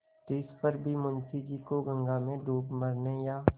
तिस पर भी मुंशी जी को गंगा में डूब मरने या